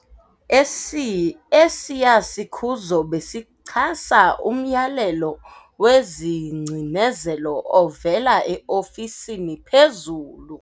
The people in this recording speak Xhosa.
Esi esiya sikhuzo besichasa umyalelo wengcinezelo ovela eofisini phezulu.